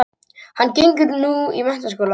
Hann gengur nú í menntaskóla